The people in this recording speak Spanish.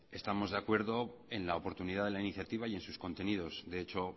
estamos de acuerdo en la oportunidad de la iniciativa y en sus contenidos de hecho